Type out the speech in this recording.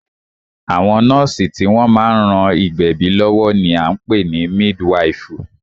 Àwọn nọ́ọ̀sì tí wọ́n má ń ran ìgbẹ̀bí lọ́wọ́ ní a ń pè ní mídwifù.